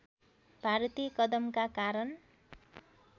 भारतीय कदमका कारण